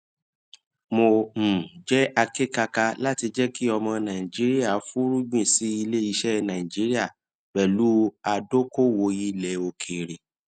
mo um jẹ akékaka láti jẹ kí ọmọ nàìjíríà fúnrúgbìn sí ilé iṣẹ nàìjíríà pẹlú adókoòwò ilẹ òkèèrè